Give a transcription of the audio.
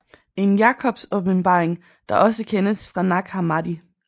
En Jacobs åbenbaring der også kendes fra Nag Hammadi